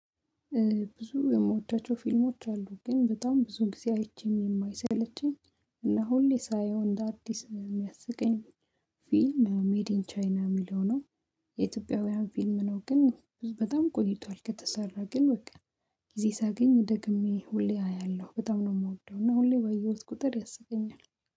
ብዙ የየምወዳቸው ፊልሞች አሉ ግን በጣም ብዙ ጊዜ አይቼም የማይሰለችኝ እና ሁሌ ሳየው እንደ አዲስ የሚያስቀኝ ፊልም ሜዲን ቻይና የሚለው ነው። የኢትዮጵያውያን ፊልም ነው ግን በጣም ቆይቷል ከተሰራ ግን በቃ ጊዜ ሳገኝ ደግሜ ሁሌ አያለሁ በጣም ነው የምወደው እና ሁሌ በየውት ቁጥር ያስቀኛል።